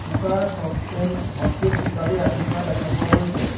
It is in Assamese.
কুকাৰ চচপেন হটকেছ ইত্যাদি ৰাখি থোৱা দেখা পোৱা গৈছে।